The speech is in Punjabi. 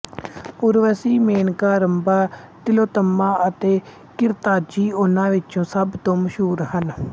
ਉਰਵਸੀ ਮੇਨਕਾ ਰੰਭਾ ਤਿਲੋਤੱਮਾ ਅਤੇ ਘ੍ਰਿਤਾਚੀ ਉਹਨਾਂ ਵਿੱਚ ਸਭ ਤੋਂ ਮਸ਼ਹੂਰ ਹਨ